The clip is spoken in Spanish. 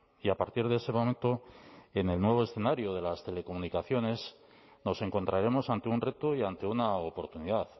y a partir de ese momento en el nuevo escenario de las telecomunicaciones nos encontraremos ante un reto y ante una oportunidad